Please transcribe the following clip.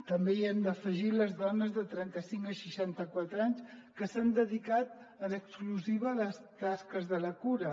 també hi hem d’afegir les dones de trenta cinc a seixanta quatre anys que s’han dedicat en exclusiva a les tasques de la cura